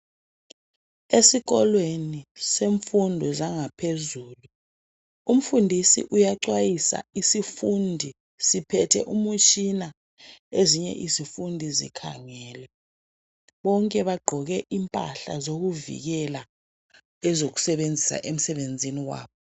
Esikolweni semfundo zangaphezulu umfundisi uyaxhwayisa isifundi siphethe umtshina ezinye izifundi zikhangele bonke bagqoke impahla zokuvikela ezokusebenzisa emsebenzini wabo.